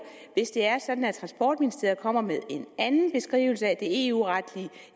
hvis det er sådan at transportministeriet kommer med en anden beskrivelse af det eu retlige